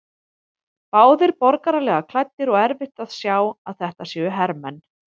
Báðir borgaralega klæddir og erfitt að sjá að þetta séu hermenn.